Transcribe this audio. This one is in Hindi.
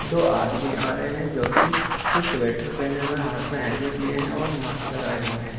दो आदमी आ रहे हैं जो कि इस स्वेटर पहने हुए हाथ में हेलमेट लिया है और मास्क लगाए हुए हैं।